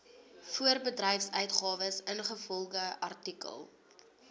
voorbedryfsuitgawes ingevolge artikel